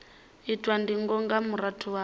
itwa ndingo nga murahu ha